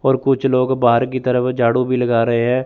और कुछ लोग बाहर की तरफ झाड़ू भी लगा रहे हैं।